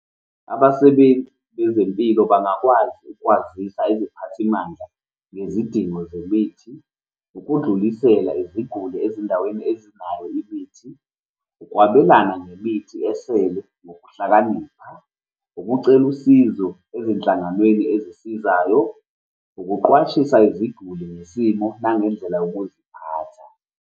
Abasebenzi bezempilo bangakwazi ukwazisa iziphathimandla ngezidingo zemithi, ukudlulisela iziguli ezindaweni ezinayo imithi, ukwabelana ngemithi esele ngokuhlakanipha, ukucela usizo ezinhlanganweni ezisizayo, ukuqwashisa iziguli ngesimo nangendlela yokuziphatha.